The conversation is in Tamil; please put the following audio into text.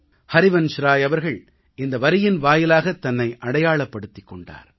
ஹரிவன்ஷ்ராய் அவர்கள் இந்த வரியின் வாயிலாகத் தன்னை அடையாளப்படுத்திக் கொண்டார்